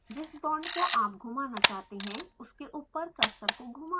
जिस बॉन्ड को आप घुमाना चाहते हैं उसके ऊपर कर्सर को घुमायें